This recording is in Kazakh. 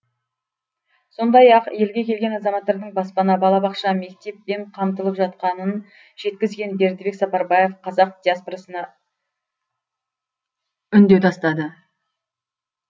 сондай ақ елге келген азаматтардың баспана балабақша мектеппен қамтылып жатқанын жеткізген бердібек сапарбаев қазақ диаспорасына үндеу тастады